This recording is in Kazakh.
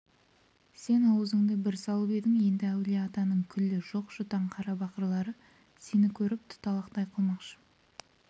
сен аузыңды бір салып едің енді әулие-атаның күллі жоқ-жұтаң қарабақырлары сені көріп туталақай қылмақшы